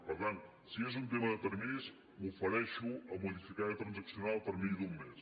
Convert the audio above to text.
per tant si és un tema de terminis m’ofereixo a modificar i a transaccionar el termini d’un mes